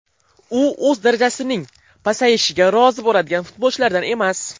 U o‘z darajasining pasayishiga rozi bo‘ladigan futbolchilardan emas.